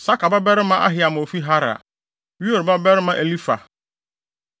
Sakar babarima Ahiam a ofi Harar; Ur babarima Elifar.